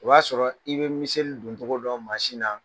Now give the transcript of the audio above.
O y'a sɔrɔ i be miseli doncogo dɔn na.